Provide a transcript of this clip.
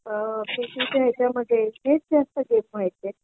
अ PT च्या ह्यांच्यामध्ये हेच जास्त गेम व्हायचे